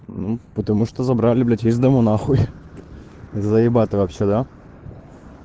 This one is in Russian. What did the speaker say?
ну потому что забрали блять из дому нахуй заебато вообще да